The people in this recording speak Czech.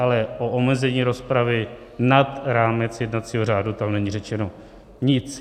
Ale o omezení rozpravy nad rámec jednacího řádu tam není řečeno nic.